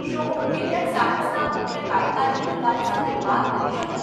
શું હું ગિલિયડ સાયન્સના મુખ્ય કાર્યકારી અધિકારી સાથે વાત કરી શકું?